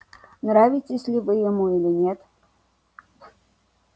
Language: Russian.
нравитесь ли вы ему или нет